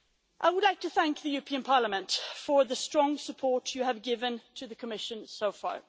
I would like to thank the European Parliament for the strong support you have given to the Commission so far.